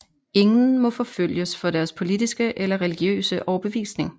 Ingen må forfølges for deres politiske eller religiøse overbevisning